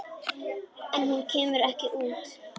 En hún kemur ekki út.